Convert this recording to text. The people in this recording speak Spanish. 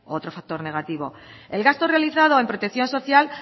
otro factor negativo el gasto realizado en protección social